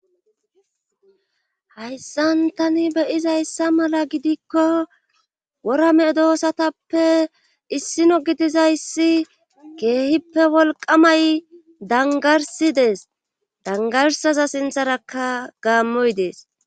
Hayssan tani beyizayssa mala gidikko worame doosatappe issino gidizayssi keehippe wolqamay dangarsidees dangarsaza sintharakka gaammoy dees